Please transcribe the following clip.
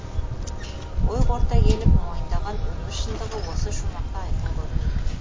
ой қорыта келіп мойындаған өмір шындығы осы шумақта айқын көрінеді